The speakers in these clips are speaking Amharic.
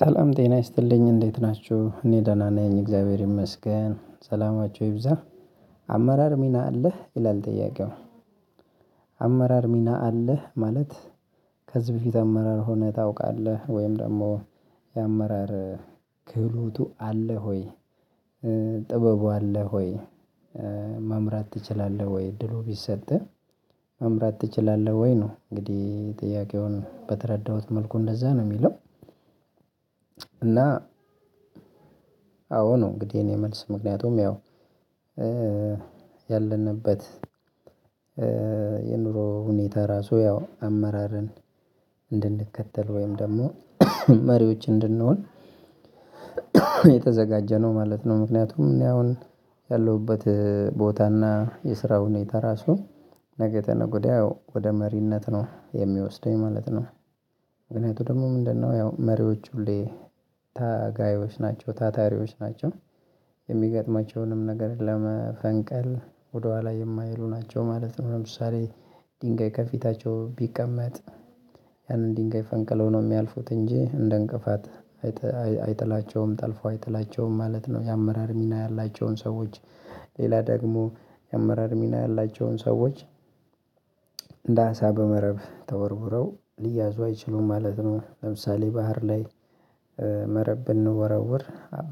ሰላም ጤና ይስጥልኝ እንዴት ናችሁ እኔ ደህና ነኝ እግዚአብሔር ይመስገን ሰላማችሁ ይብዛ። አመራር ሚና አለህ ይላል ጥያቄው? አመራር ሚና አለህ ማለት ከዚህ በፊት አመራር ሆነህ ታውቃለህ? ወይም ደግሞ የአመራር ክህሎቱ አለህ? ሆይ ጥበቡ አለህ? ሆይ መምራት ትችላለህ? ወይ እድሉ ቢሰጠህ መምራት ትችላለህ? ወይ ነው እንግዲህ ጥያቄውን በተረዳሁት መልኩ እንደዛ ነው የሚለው። እና አዎ ነው እንግዲህ የኔ መልስ ምክንያቱም ያው ያለንበት የኑሮ ሁኔታ ራሱ ያው አመራርን እንድንከተል ወይም ደግሞ መሪዎች እንድንሆን የተዘጋጀ ነው ማለት ነው። ምክንያቱም እኔ አሁን ያለሁበት ቦታና የስራው ሁኔታ ራሱ ነገተ ነገድ ወደ መሪነት ነው የሚወስደኝ ማለት ነው። ምክንያቱም ደግሞ ምንድነው ያው መሪዎች ሁሌ ታጋዮች ናቸው ታታሪዎች ናቸው። የሚገጥማቸውንም ነገር ለመፈንቀል ወደኋላ የማይሉ ናቸው ማለት ነው። ለምሳሌ ድንጋይ ከፊታቸው ቢቀመጥ ያንን ድንጋይ ፈንቅለው ነው የሚያልፉት እንጂ እንደ እንቅፋት አይጥላቸውም ጠልፎ አይጥላቸውም ማለት ነው። የአመራር ሚና ያላቸውን ሰዎች ሌላ ደግሞ የአመራር ሚና ያላቸውን ሰዎች እንዳሳ በመረብ ተወርውረው ሊያዙ አይችሉም ማለት ነው። ለምሳሌ ባህር ላይ መረብ ብንወረውር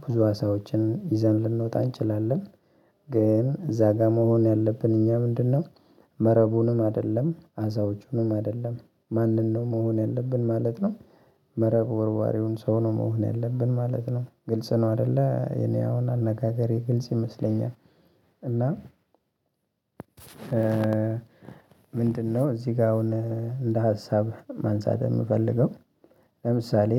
ብዙ አሳዎችን ይዘን ልንወጣ እንችላለን። ግን እዛ ጋር መሆን ያለብን እኛ ምንድነው? መረቡንም አይደለም አሳወቹንም አይደለም ማንን ነው መሆን ያለብን ማለት ነው። መረብ ወርዋሪውን ሰው ነው መሆን ያለብን ማለት ነው። ግልጽ ነው አይደለ የኔ አሁን አነጋገሬ ግልጽ ይመስለኛል። እና ምንድነው እዚህ ጋር አሁን እንደ ሀሳብ ማንሳት የምፈልገው ለምሳሌ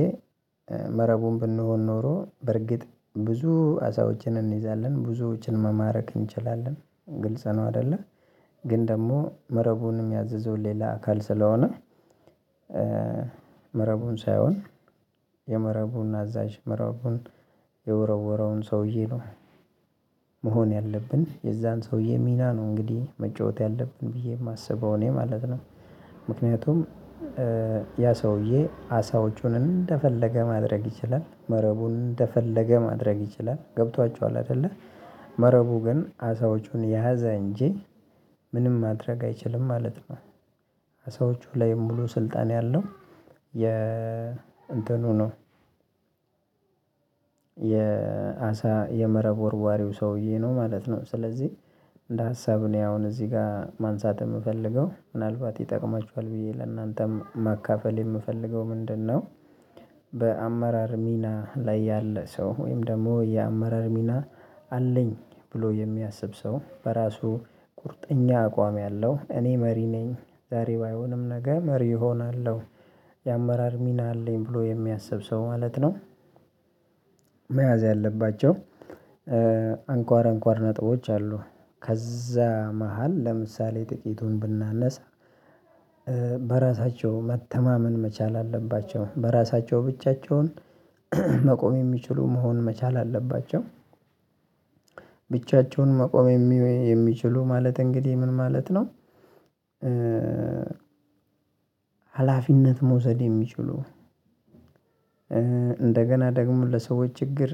መረቡን ብንሆን ኖሮ በርግጥ ብዙ አሳዎችን እንይዛለን ብዙዎችን መማረክ እንችላለን ግልጽ ነው አይደለም? ግን ደግሞ መረቡንም ያዘዘው ሌላ አካል ስለሆነ መረቡን ሳይሆን የመረቡን አዛዥ መረቡን የወረወረውን ሰውዬ ነው። መሆን ያለብን የዛን ሰውዬ ሚና ነው እንግዲህ መጫወት ያለብን ብዬ የማስበው እኔ ማለት ነው። ምክንያቱም ያ ሰውዬ አሳውጩን እንደፈለገ ማድረግ ይችላል መረቡን እንደፈለገ ማድረግ ይችላል ገብቷችኋል አይደለ? መረቡ ግን አሳዎቹን የያዘ እንጂ ምንም ማድረግ አይችልም ማለት ነው። አሳዎቹ ላይ የምሉ ስልጣን ያለው የ እንትኑ ነው የ የመረብ ወርዋሪው ሰውዬ ነው ማለት ነው። ስለዚህ እንደ ሀሳብ እኔ አሁን እዚህ ጋር ማንሳት የምፈልገው ምናልባት ይጠቅማችኋል ብዬ ለእናንተም ማካፈል የምፈልገው ምንድነው? በአመራር ሚና ላይ ያለ ሰው ወይም ደግሞ የአመራር ሚና አለኝ ብሎ የሚያስብ ሰው በራሱ ቁርጠኛ አቋም ያለው እኔ መሪ ነኝ። ዛሬ ባይሆንም ነገ መሪ እሆናለሁ። የአመራር ሚና አለኝ ብሎ የሚያስብ ሰው ማለት ነው። መያዝ ያለባቸው አንኳር አንኳር ነጥቦች አሉ። ከዛ መሃል ለምሳሌ ጥቂቱን ብናነሳ። በራሳቸው መተማመን መቻል አለባቸው በራሳቸው ብቻቸውን መቆም የሚችሉ መሆን መቻል አለባቸው። ብቻቸውን መቆም የሚችሉ ማለት እንግዲህ ምን ማለት ነው? ሀላፊነት መውሰድ የሚችሉ እንደገና ደግሞ ለሰዎች ችግር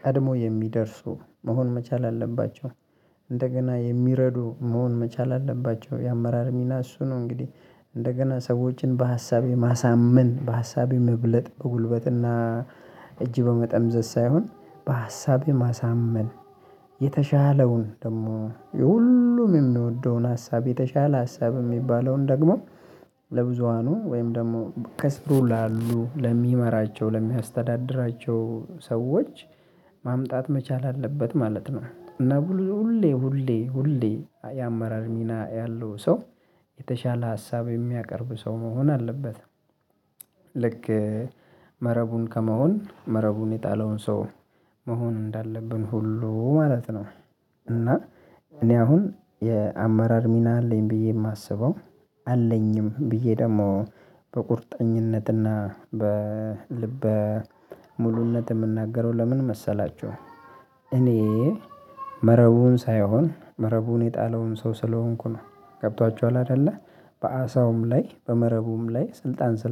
ቀድሞ የሚደርሱ መሆን መቻል አለባቸው። እንደገና የሚረዱ መሆን መቻል አለባቸው። የአመራር ሚና እሱ ነው እንግዲህ እንደገና ሰዎችን በሀሳቤ ማሳመን በሀሳቤ መብለጥ በጉልበትና እጅ በመጠምዘዝ ሳይሆን በሀሳብ የማሳመን የተሻለውን ደግሞ የሁሉም የምንወደውን ሀሳብ የተሻለ ሀሳብ የሚባለውን ደግሞ ለብዙሃኑ ወይም ደግሞ ከስሩ ላሉ ለሚመራቸው ለሚያስተዳድራቸው ሰዎች ማምጣት መቻል አለበት ማለት ነው። እና ሁሌ ሁሌ ሁሌ የአመራር ሚና ያለው ሰው የተሻለ ሀሳብ የሚያቀርብ ሰው መሆን አለበት። ልክ መረቡን ከመሆን መረቡን የጣለውን ሰው መሆን እንዳለብን ሁሉ ማለት ነው። እና እኔ አሁን የአመራር ሚና አለኝ ብዬ የማስበው አለኝም ብዬ ደግሞ በቁርጠኝነትና በልበ ሙሉነት የምናገረው ለምን መሰላችሁ? እኔ መረቡን ሳይሆን መረቡን የጣለውን ሰው ስለሆንኩ ነው። ገብቷችኋል አይደለ በአሳውም ላይ በመረቡም ላይ ስልጣን ስለ